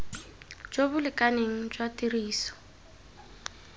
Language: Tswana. jo bo lekaneng jwa tiriso